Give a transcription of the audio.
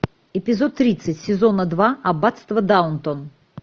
эпизод тридцать сезона два аббатство даунтон